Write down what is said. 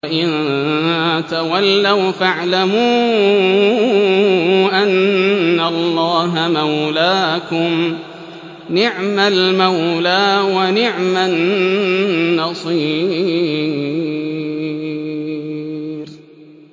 وَإِن تَوَلَّوْا فَاعْلَمُوا أَنَّ اللَّهَ مَوْلَاكُمْ ۚ نِعْمَ الْمَوْلَىٰ وَنِعْمَ النَّصِيرُ